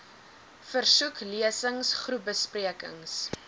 versoek lesings groepbesprekings